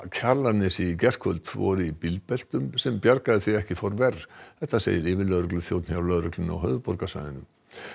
Kjalarnesi í gærkvöld voru í bílbeltum sem bjargaði því að ekki fór verr þetta segir yfirlögregluþjónn hjá lögreglunni á höfuðborgarsvæðinu